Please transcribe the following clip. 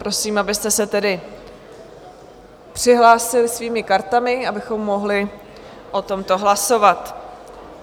Prosím, abyste se tedy přihlásili svými kartami, abychom mohli o tomto hlasovat.